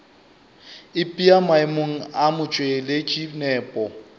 ipea maemong a motšweletši nepo